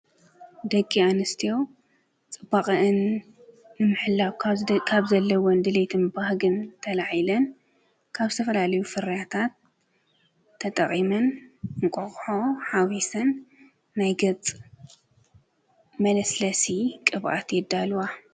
ደቂ ኣንስትዮ ፅባቀአን ንምሕላው ካብ ዘለወን ድሌትን ባህግን ተላዒለን ካብ ዝተፈላለዩ ፍርያታት ተጠቂመን እንቋቆሖ ሓዊሰን ናይ ገፅ መለስለሲ ቅብኣት የዳልዋ።